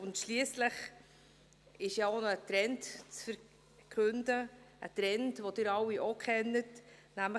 Und schliesslich ist es ja auch noch ein Trend zu verkünden, ein Trend, den Sie alle auch kennen: